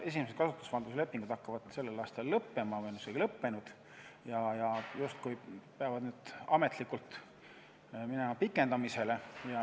Esimesed kasutusvalduse lepingud hakkavad sellel aastal lõppema või on isegi lõppenud ja justkui peavad ametlikult minema pikendamisele.